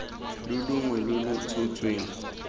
le longwe lo lo tshotsweng